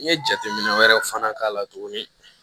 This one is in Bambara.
N ye jateminɛ wɛrɛw fana k'a la tuguni